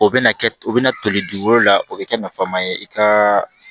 O bɛna kɛ o bɛna toli dugukolo la o bɛ kɛ nafan ma ye i ka